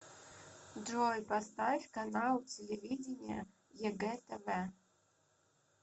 джой поставь канал телевидения егэ тв